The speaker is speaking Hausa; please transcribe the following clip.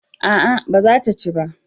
A'a ba za ta ci ba